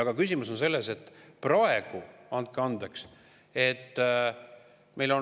Aga küsimus on selles, et praegu – andke andeks!